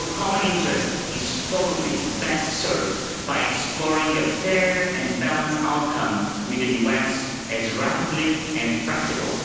Our common interest is probably best served by exploring a fair and balanced outcome with the US as rapidly as practicable.